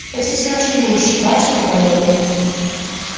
спасите наши души ваше преподобие